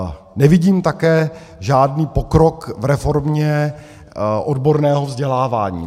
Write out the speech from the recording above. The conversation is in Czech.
Nevidím také žádný pokrok v reformě odborného vzdělávání.